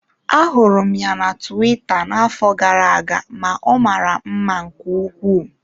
Ahụrụ m ya na tuwita n'afọ gara aga ma ọ mara mma nke ukwuu.